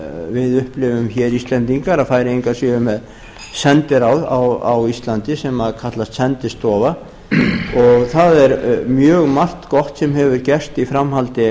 við upplifum hér íslendingar að færeyinga séu með sendiráð á íslandi sem kallast sendistofa það er mjög margt gott sem hefur gerst í framhaldi